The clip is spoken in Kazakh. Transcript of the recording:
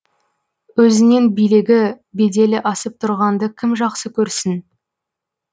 өзінен билігі беделі асып тұрғанды кім жақсы көрсін